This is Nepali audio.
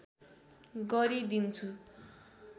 गरि दिन्छु